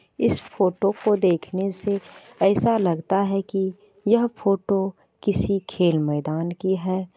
इस फोटो को देखने से ऐसा लगता है कि यह फोटो किसी खेल मैदान की है।